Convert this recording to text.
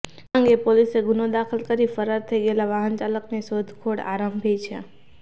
આ અંગે પોલીસે ગુનો દાખલ કરી ફરાર થઈ ગયેલા વાહનચાલકની શોધખોળ આરંભી છે